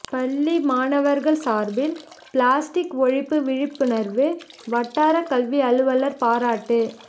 பள்ளி மாணவர்கள் சார்பில் பிளாஸ்டிக் ஒழிப்பு விழிப்புணர்வு வட்டார கல்வி அலுவலர் பாராட்டு